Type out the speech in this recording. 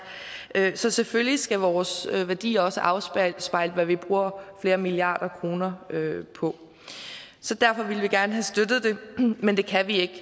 så selvfølgelig skal vores værdier også afspejle hvad vi bruger flere milliarder kroner på derfor ville vi gerne have støttet det men det kan vi